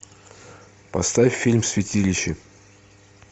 поставь фильм святилище